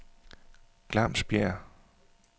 Glamsbjerg